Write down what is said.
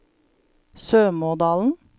Sømådalen